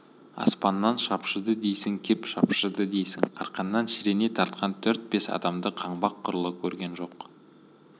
аспанға шапшыды дейсің кеп шапшыды дейсің арқаннан шірене тартқан төрт-бес адамды қаңбақ құрлы көрген жоқ